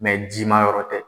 ji ma yɔrɔ tɛ